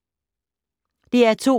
DR2